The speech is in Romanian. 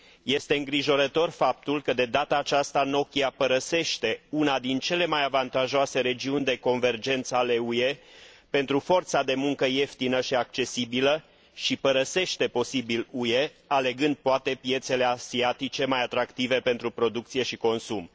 Este îngrijorător faptul că, de data aceasta, Nokia părăsește una dintre cele mai avantajoase regiuni de convergență ale UE pentru forța de muncă ieftină și accesibilă și părăsește, posibil, UE, alegând poate piețe asiatice mai atractive pentru producție și consum.